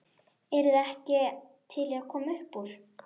Eruð þið ekki til í að koma uppúr?